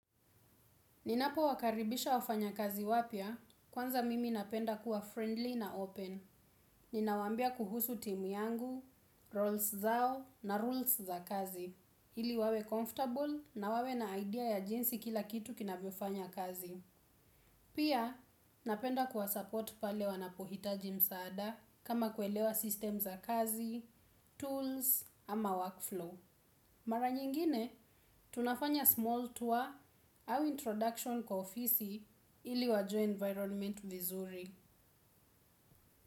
Ninapowakaribisha wafanyakazi wapya, kwanza mimi napenda kuwa friendly na open. Ninawaambia kuhusu timu yangu, roles zao na rules za kazi. Ili wawe comfortable na wawe na idea ya jinsi kila kitu kinavyofanya kazi. Pia, napenda kuwa support pale wanapohitaji msaada kama kuelewa system za kazi, tools ama workflow. Mara nyingine, tunafanya small tour au introduction kwa ofisi ili wajue environment vizuri.